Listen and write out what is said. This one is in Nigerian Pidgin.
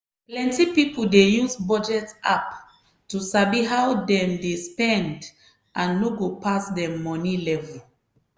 plenty people dey use budget app to sabi how dem dey spend and no go pass dem money level.